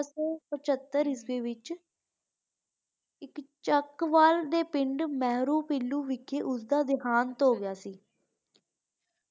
ਦੇ ਵਿਚ ਇਕ ਚਕਵਾਲ ਦੇ ਪਿੰਡਮੇਹਰੂ ਪੀਲੂ ਵੇਖੀ ਓਹਦਾ ਦਿਹਾਂਤ ਹੋਗਿਆ ਸੀ